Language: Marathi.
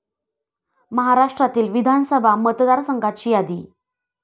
महाराष्ट्रातील विधानसभा मतदारसंघाची यादी.